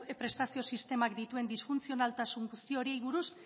prestazio sistemak dituen disfuntzionaltasun guzti horiei buruz